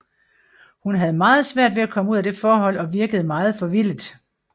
Hun havde meget svært ved at komme ud af det forhold og virkede meget forvildet